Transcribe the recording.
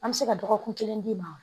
An bɛ se ka dɔgɔkun kelen d'i ma